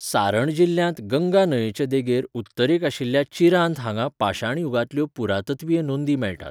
सारण जिल्ल्यांत गंगा न्हंयेचे देगेर उत्तरेक आशिल्ल्या चिरांद हांगा पाशाणयुगांतल्यो पुरातत्वीय नोंदी मेळटात.